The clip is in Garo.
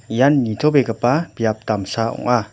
ian nitobegipa biap damsa ong·a.